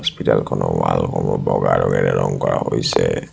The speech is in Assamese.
হস্পিটাল খনৰ ৱাল সমূহ বগা ৰঙৰে ৰং কৰা হৈছে।